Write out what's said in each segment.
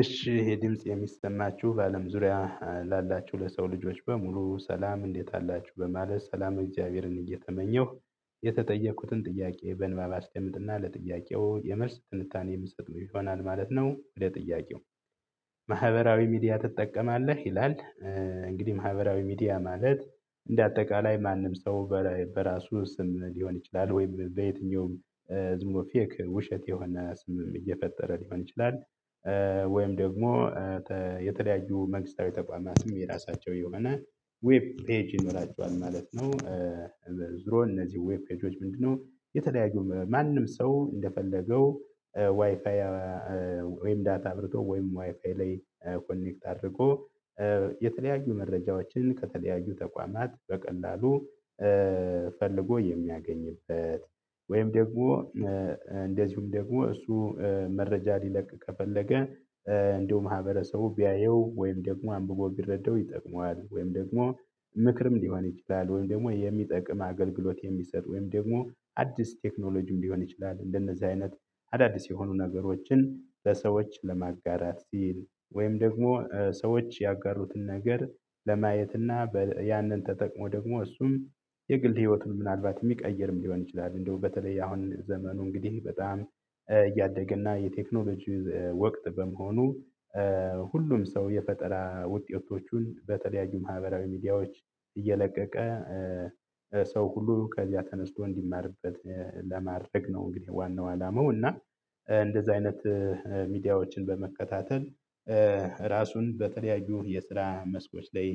እሺ ይሄ ድምጽ የሚሰማችሁ በአለም ዙሪያ ላላችሁ ለሰው ልጆች በሙሉ ሰላም እንዴት አላችሁ በማለት ሰላመ እግዚአብሔርን እየተመኘሁ የተጠየቁትን ጥያቄ በንባብ አስደምጥና ለጥያቄው የመልስ ትንታኔ የምሰጠው ይሆናል ማለት ነው፥ ለጥያቄው። ሚዲያ ትጠቀማለህ ይላል? እንግዲህ ማህበራዊ ሚዲያ ማለት፥ እንደ አጠቃላይ ማንም ሰው በራሱ ስም ሊሆን ይችላል ወይም በየትኛውም ዝምብሎ ፌክ ውሸት የሆነ ስምም እየፈጠረ ሊሆን ይችላል ወይም ደግሞ የተለያዩ መንግስታዊ ተቋማትም የራሳቸው የሆነ ዌብ ፔጅ ይኖራቸዋል ማለት ነው። ዙሮ እነዚህ ዌብ ፔጆች ምንድነው የተለያዩ ማንም ሰው እንደፈለገው ዋይፋይ ወይም ዳታ አብርቶ ወይም ዋይፋይ ላይ ኮኔክት አድርጎ መረጃዎችን ከተለያዩ ተቋማት በቀላሉ ፈልጎ የሚያገኝበት ወይም ደግሞ እንደዚሁም ደግሞ እሱ መረጃ ሊለቅ ከፈለገ እንደው ማህበረሰቡ ቢያየው ወይም ደግሞ አምብቦ ቢረዳው ይጠቅመዋል ወይም ደግሞ ምክርም ሊሆን ይችላል ወይም ደግሞ የሚጠቅም አገልግሎት የሚሰጥ ወይም ደግሞ አዲስ ቴክኖሎጂም ሊሆን ይችላል እንደነዚህ አይነት አዳዲስ የሆኑ ነገሮችን ለሰዎች ለማጋራት ሲል ወይም ደግሞ ሰዎች ያጋሩትን ነገር ለማየትና ያንን ተጠቅሞ ደግሞ እሱም የግል ህይወቱን ምናልባት የሚቀይርም ሊሆን ይችላል እንደው በተለይ አሁን ዘመኑ እንግዲህ በጣም እያደገ እና የቴክኖሎጂ ወቅት በመሆኑ ሁሉም ሰው የፈጠራ ውጤቶቹን በተለያዩ ማህበራዊ ሚዲያዎች እየለቀቀ ሰው ሁሉ ከዚያ ተነስቶ እንዲማርበት ነው እንግዲህ ዋናው አላማው እና እንደዚህ አይነት ሚዲያዎችን በመከታተል ራሱን በተለያዩ የስራ መስኮች ላይ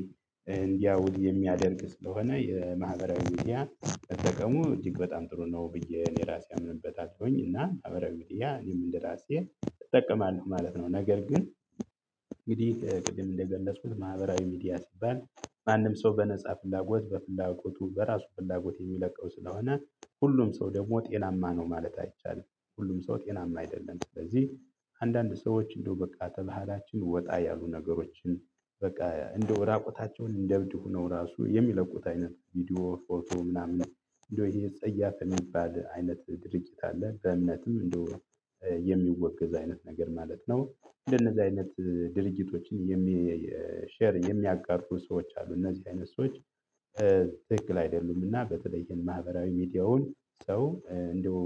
እንዲያውል የሚያደርግ ስለሆነ የማህበራዊ ሚዲያን መጠቀሙ እጅግ በጣም ጥሩ ነው ብዬ እኔ ራሴ አምንበታለሁኝ እና ማህበራዊ ሚዲያ እኔም እንደራሴ እጠቀማለሁ ማለት ነው። ነገር ግን እንግዲህ ቅድም እንደገለጽኩት ማህበራዊ ሚዲያ ሲባል ማንም ሰው በነፃ ፍላጎት በፍላጎቱ በራሱ ፍላጎት የሚለቀው ስለሆነ ሁሉም ሰው ደግሞ ጤናማ ነው ማለት አይቻልም። ሁሉም ሰው ጤናማ አይደለም። ስለዚህ አንዳንድ ሰዎች እንደው በቃ ከባህላችን ወጣ ያሉ ነገሮችን፥ በቃ እንደው ራቁታቸውን እንደ እብድ ሆነው ራሱ የሚለቁት አይነት ቪዲዮ፣ ፎቶ ምናምን እንደው ይሄ ጸያፍ የሚባል አይነት ድርጊት አለ። በእምነትም እንደው የሚወገዝ አይነት ነገር ማለት ነው እንደነዚህ አይነት ድርጊቶችን ሼር የሚያጋሩ ሰዎች አሉ። እነዚህ አይነት ሰዎች አይደሉምና በተለይም ማህበራዊ ሚዲያውን ሰው እንደው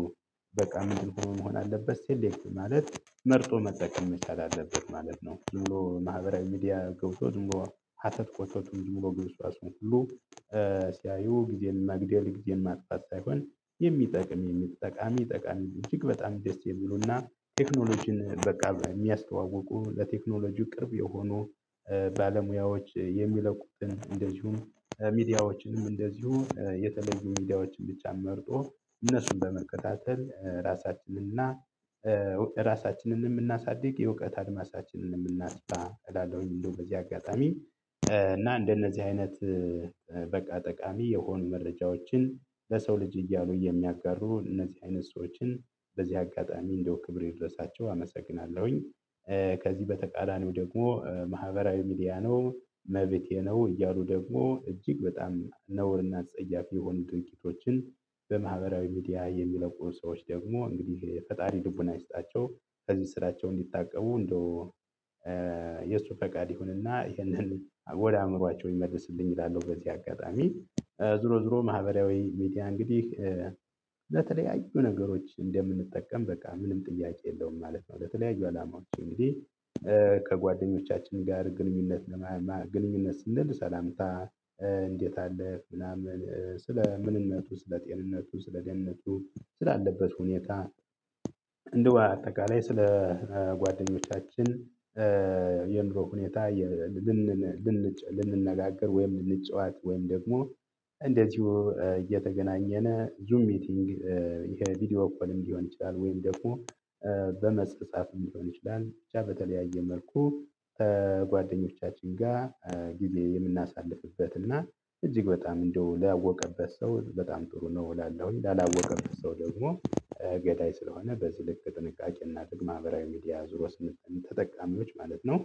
በቃ ምንድነው መሆን ያለበት ሴሌክቲቭ ማለት መርጦ መጠቀም መቻል አለበት ማለት ነው። ዝም ብሎ ማህበራዊ ሚዲያ ገብቶ ዝም ብሎ ሀተት ኮተቱን ዝም ብሎ ግብስባሱን ሁሉ ሲያዩ ጊዜን መግደል ጊዜን ማጥፋት ሳይሆን የሚጠቅም ጠቃሚ ጠቃሚ እጅግ በጣም ደስ የሚሉና ቴክኖሎጂን በቃ የሚያስተዋውቁ ለቴክኖሎጂው ቅርብ የሆኑ ባለሙያዎች የሚለቁትን እንደዚሁም ሚዲያዎችንም እንደዚሁ የተለዩ ሚዲያዎችን ብቻ መርጦ እነሱን በመከታተል ራሳችንን እና ራሳችንንም እናሳድግ የእውቀት አድማሳችንንም እናስፋ እላለሁኝ እንደው በዚህ አጋጣሚ እና እንደነዚህ አይነት በቃ ጠቃሚ የሆኑ መረጃዎችን ለሰው ልጅ እያሉ የሚያጋሩ እነዚህ አይነት ሰዎችን በዚህ አጋጣሚ እንደው ክብር ይድረሳቸው አመሰግናለሁኝ። ከዚህ በተቃራኒው ደግሞ ማህበራዊ ሚዲያ ነው፥ መቤቴ ነው እያሉ ደግሞ እጅግ በጣም እና አጸያፊ የሆኑ ድርጊቶችን በማህበራዊ ሚዲያ የሚለቁ ሰዎች ደግሞ እንግዲህ ፈጣሪ ልቡና ይስጣቸው። ከዚህ ስራቸው እንዲታቀቡ እንደው የእሱ ፈቃድ ይሁንና ይሄንን ወደ አእምሮአቸው ይመልስልኝ እላለሁ በዚህ አጋጣሚ። ዙሮ ዙሮ ማህበራዊ ሚዲያ እንግዲህ ለተለያዩ ነገሮች እንደምንጠቀም በቃ ምንም ጥያቄ የለውም ማለት ነው፥ ለተለያዩ አላማዎች። እንግዲህ ከጓደኞቻችን ጋር ግንኙነት ለማማ ግንኙነት ስንል፥ ሰላምታ እንዴት አለህ ምናምን ስለ ምንነቱ፣ ስለ ጤንነቱ፣ ስለ ደህንነቱ፣ ስላለበት ሁኔታ እንደው በአጠቃላይ ስለ ጓደኞቻችን የኑሮ ሁኔታ ልንጨነቅ ልንነጋገር ወይም ልንጫወት ወይም ደግሞ እንደዚሁ እየተገናኘን ዙም ሚቲንግ ይሄ ቪዲዮ ኮልም ሊሆን ይችላል ወይም ደግሞ በመጻጻፍም ሊሆን ይችላል ብቻ በተለያየ መልኩ ጓደኞቻችን ጋ ጊዜ የምናሳልፍበት እና እጅግ በጣም እንደው ላወቀበት ሰው በጣም ጥሩ ነው እላለሁኝ። ላላወቀበት ሰው ደግሞ ገዳይ ስለሆነ በዚህ ልክ ጥንቃቄ እናድርግ ማህብራዊ ሚዲያ ዙር ውስጥን ተጠቃሚዎች ማለት ነው።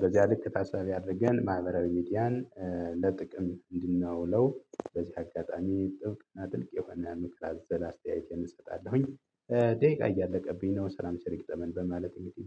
በዚያ ልክ ታሳቢ አድርገን ማህበራዊ ሚዲያን ለጥቅም እንድናውለው በዚህ አጋጣሚ ጥብቅ እና ጥልቅ የሆነ ምክር አዘል አስተያየቴን እሰጣለሁኝ። ደቂቃ እያለቀብኝ ነው። ሰላም ቸር ይግጠመን በማለት እንግዲህ